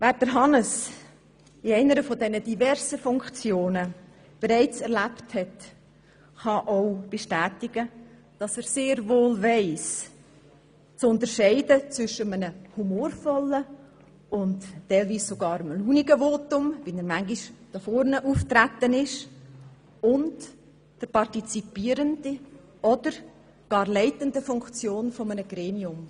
Wer Hannes in einer dieser diversen Funktionen bereits erlebt hat, kann bestätigen, dass er sehr wohl zu unterscheiden weiss, zwischen humorvollen und teilweise sogar launigen Voten, mit welchen er manchmal hier vorne aufgetreten ist, und der partizipierenden oder gar leitenden Funktion eines Gremiums.